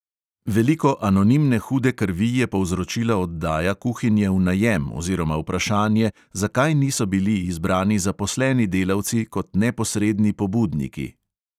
Veliko anonimne hude krvi je povzročila oddaja kuhinje v najem oziroma vprašanje, zakaj niso bili izbrani zaposleni delavci kot neposredni pobudniki.